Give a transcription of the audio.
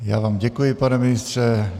Já vám děkuji, pane ministře.